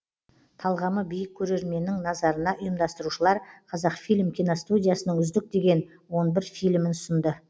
талғамы биік көрерменнің назарына ұйымдастырушылар қазақфильм киностудиясының үздік деген он бір фильмін ұсынды